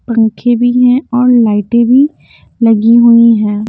पंखे भी है और लाइटें भी लगी हुई है।